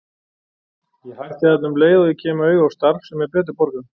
Ég hætti þarna um leið og ég kem auga á starf sem er betur borgað.